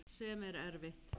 Sem er erfitt.